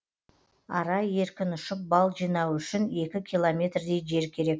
ара еркін ұшып бал жинауы үшін екі километрдей жер керек